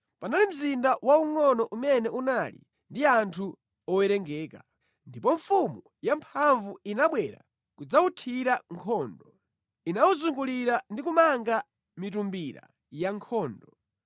Panali mzinda waungʼono umene unali ndi anthu owerengeka. Ndipo mfumu yamphamvu inabwera kudzawuthira nkhondo, inawuzungulira ndi kumanga mitumbira yankhondo.